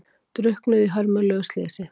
Drukknuðu í hörmulegu slysi